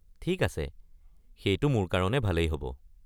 ঠিক আছে, সেইটো মোৰ কাৰণে ভালেই হ'ব।